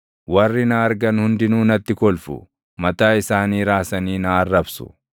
Warri na argan hundinuu natti kolfu; mataa isaanii raasanii na arrabsu.